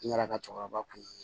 N yɛrɛ ka cɛkɔrɔba kun